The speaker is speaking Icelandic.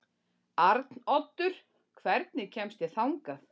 Arnoddur, hvernig kemst ég þangað?